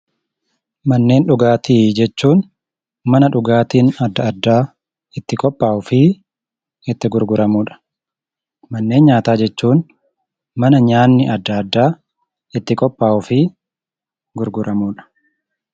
Manneen dhugaatii jechuun mana dhugaatiin adda addaa itti qophaa'uu fi itti gurguramuu dha. Manneen nyaataa jechuun mana nyaanni adda addaa itti qophaa'uu fi gurguramuu dha.